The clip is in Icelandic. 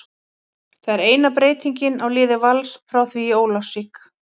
Það er eina breytingin á liði Vals frá því í Ólafsvík.